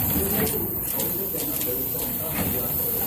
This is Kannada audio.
ಇವೆಲ್ಲದೂ ಕೌಶಲ್ಯನ ಬೆಳ್ಸೋಂಥ ಹವ್ಯಾಸಗಳು.